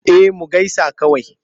Eh mu gaisa kawai.